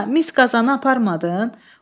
Ana, mis qazanı aparmadın?